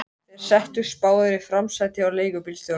Þeir settust báðir í framsætið hjá leigubílstjóranum.